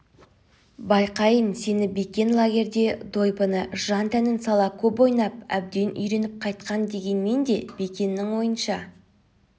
байқайын сені бекен лагерьде дойбыны жан-тәнін сала көп ойнап әбден үйреніп қайтқан дегенмен де бекеннің ойынша